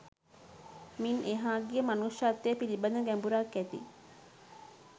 මින් එහා ගිය මනුෂ්‍යත්වය පිළිබඳ ගැඹුරක් ඇති